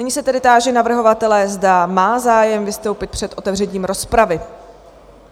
Nyní se tedy táži navrhovatele, zda má zájem vystoupit před otevřením rozpravy?